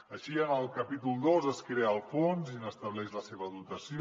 així en el capítol dos es crea el fons i se n’estableix la dotació